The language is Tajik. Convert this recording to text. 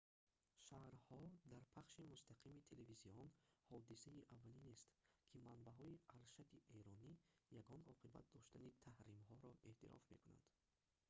шарҳҳо дар пахши мустақими телевизион ҳодисаи аввалинест ки манбаъҳои аршади эронӣ ягон оқибат доштани таҳримҳоро эътироф мекунанд